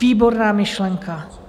Výborná myšlenka.